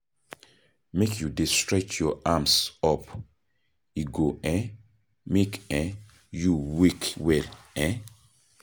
Make you dey stretch your arms up, e go um make um you wake well um